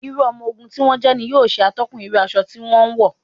Irú ọmọ ogun tí wọ́n jẹ́ ní yóò ṣe atọ́kùn irú aṣọ tí wọn ń wọ̀.